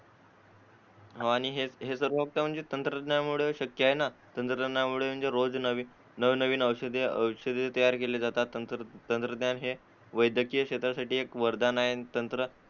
आणि हे हे सर्व म्हणजे तंत्रज्ञानामुळे शक्य आहे ना तंत्रज्ञानामुळे रोज नवनवीन औषधे तयार केली जातात तंत्रज्ञान हे वैद्यकीय क्षेत्रासाठी एक वरदान आहे